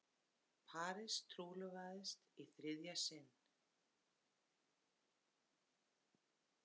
Paris trúlofast í þriðja sinn